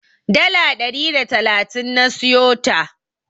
Dala ɗari da talatin na siyota.